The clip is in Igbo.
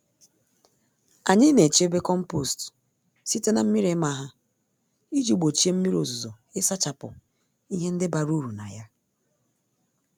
Anyị naechebe kompost site na mmírí ịma ha, iji gbochie mmírí ozuzo ịsachapụ ihe ndị bara uru na ya